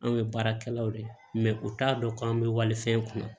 Anw ye baarakɛlaw de ye u t'a dɔn k'an bɛ walifɛn kunna